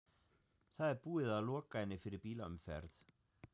Það er búið að loka henni fyrir bílaumferð!